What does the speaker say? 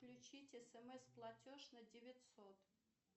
включить смс платеж на девятьсот